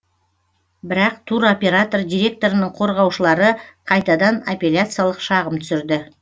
бірақ туроператор директорының қорғаушылары қайтадан аппеляциялық шағым түсірді